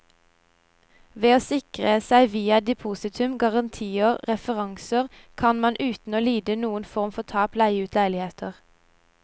Ved å sikre seg via depositum, garantier og referanser, kan man uten å lide noen form for tap leie ut leiligheter.